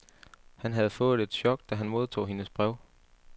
Han havde fået et chok, da han modtog hendes brev.